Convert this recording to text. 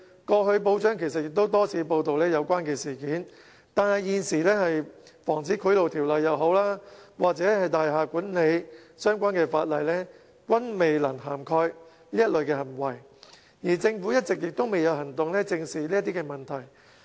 報章過去其實也曾多次報道相關事件，但無論是現時的《防止賄賂條例》或大廈管理相關法例，均未能涵蓋這類行為，而政府一直也未有行動正視這類問題。